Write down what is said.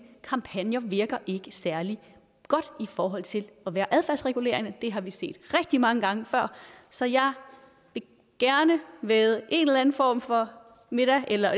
kampagner virker ikke særlig godt i forhold til at være adfærdsregulerende det har vi set rigtig mange gange før så jeg vil gerne vædde en eller anden form for middag eller